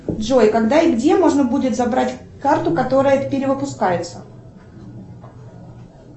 джой когда и где можно будет забрать карту которая перевыпускается